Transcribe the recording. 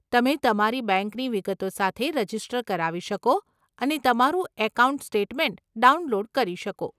તમે તમારી બેંકની વિગતો સાથે રજીસ્ટર કરાવી શકો અને તમારો એકાઉન્ટ સ્ટેટમેન્ટ ડાઉનલોડ કરી શકો.